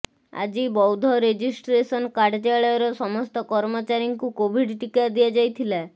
ଆଜି ବୌଦ୍ଧ ରେଜିଷ୍ଟ୍ରେସନ କାର୍ଯ୍ୟାଳୟର ସମସ୍ତ କର୍ମଚାରୀଙ୍କୁ କୋଭିଡ ଟୀକା ଦିଆଯାଇଥିଲା